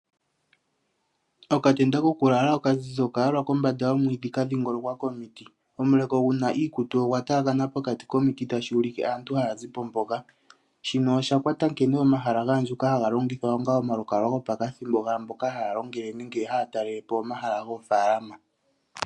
Okatenda kokulala okazizi okayalwa kombanda yomwiidhi ka dhingolokwa komiti. Omuleko guna iikutu ogwa taakana pokati komiti tashi ulike aantu haya zi po mpoka. Shino osha kwata nkene omahala ga andjuka haga longithwa onga omalukalwa gopakathimbo, gaamboka haya longele nenge haya talele po omahala goofalama.